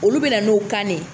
Olu be na n'o kan de ye.